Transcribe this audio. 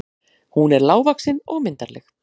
Hún er lágvaxin og myndarleg.